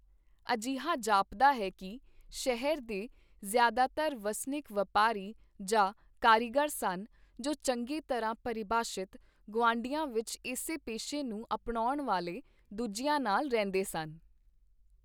ਅਜਿਹਾ ਜਾਪਦਾ ਹੈ ਕੀ ਸ਼ਹਿਰ ਦੇ ਜ਼ਿਆਦਾਤਰ ਵਸਨੀਕ ਵਪਾਰੀ ਜਾਂ ਕਾਰੀਗਰ ਸਨ, ਜੋ ਚੰਗੀ ਤਰ੍ਹਾਂ ਪਰਿਭਾਸ਼ਿਤ ਗੁਆਂਢੀਆਂ ਵਿੱਚ ਇਸੇ ਪੇਸ਼ੇ ਨੂੰ ਅਪਣਾਉਣ ਵਾਲੇ ਦੂਜਿਆਂ ਨਾਲ ਰਹਿੰਦੇ ਸਨ।